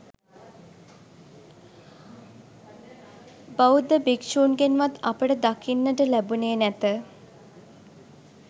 බෞද්ධ භික්ෂූන්ගෙන්වත් අපට දකින්නට ලැබුණේ නැත